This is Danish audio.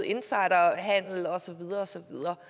insiderhandel og så videre og så videre